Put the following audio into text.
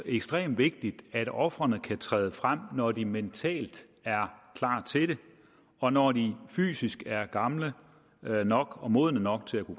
ekstremt vigtigt at ofrene kan træde frem når de er mentalt klar til det og når de er fysisk gamle nok og modne nok til at